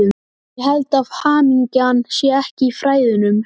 En ég held að hamingjan sé ekki í fræðunum.